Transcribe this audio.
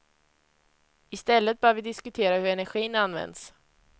I stället bör vi diskutera hur energin används.